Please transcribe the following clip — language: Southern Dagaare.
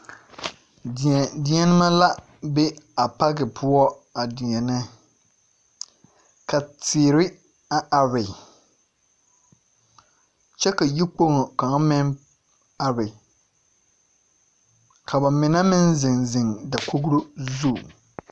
Deԑdeԑnemԑ la be a paki poͻ a deԑnԑ. ka teere a are kyԑ ka yikpoŋo kaŋa meŋ are. ka ba mine meŋ zeŋ zeŋ dakogoro zu.